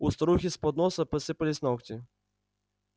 у старухи с подноса посыпались ногти